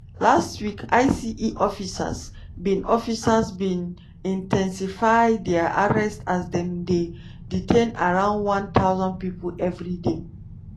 last week ice officers bin officers bin in ten sify dia arrests as dem dey detain around one thousand pipo evri day.